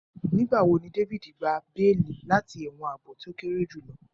Nigbawo ni David gba beeli lati ẹwọn aabo to kere julọ